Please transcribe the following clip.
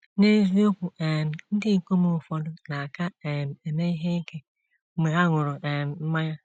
N’eziokwu um, ndị ikom ụfọdụ na - aka um eme ihe ike mgbe ha ṅụrụ um mmanya.